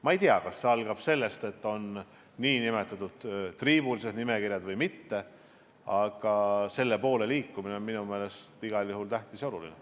Ma ei tea, kas see algab sellest, et on nn triibulised nimekirjad, või mitte, aga selle poole liikumine on minu meelest igal juhul oluline.